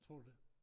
Tror du det?